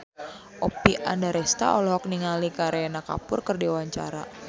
Oppie Andaresta olohok ningali Kareena Kapoor keur diwawancara